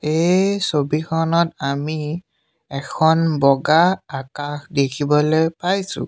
এই ছবিখনত আমি এখন বগা আকাশ দেখিবলৈ পাইছোঁ।